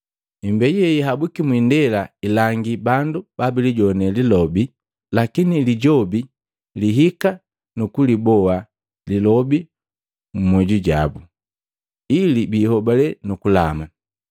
Imbeju yeyahabwiki mwindela, ilangi bandu babilijowane lilobe, lakini Lijobi lihika nu kuliboa lilobi mmyoju jabu, ili biihobale nu kulama.